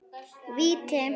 Víti!